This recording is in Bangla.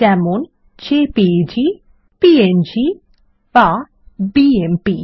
যেমন জেপিইজি প্যাং বা বিএমপি